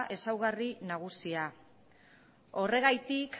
ezaugarri nagusia horregatik